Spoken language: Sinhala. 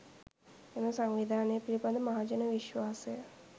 එම සංවිධාන පිළිබඳ මහජන විශ්වාසය